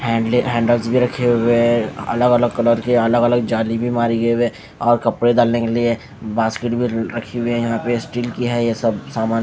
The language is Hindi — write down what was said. हैंडले हैंडल्स भी रखे हुए है अलग अलग कलर के अलग अलग झाली भी बांधी हुई है वे कपड़े डालने के लिए बास्केट भी रखी हुई है यहाँ पे स्टील की है ये सब सामान--